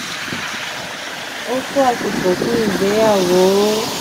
o to asiko fun igbeyawo.